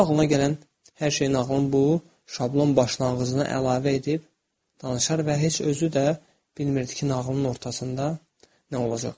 Sonra ağlına gələn hər şeyin nağılın bu şablon başlanğıcına əlavə edib danışar və heç özü də bilmirdi ki, nağılın ortasında nə olacaq.